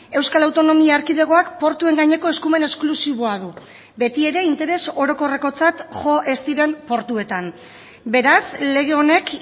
euskal autonomia erkidegoak portuen gaineko eskumen esklusiboa du beti ere interes orokorrekotzat jo ez diren portuetan beraz lege honek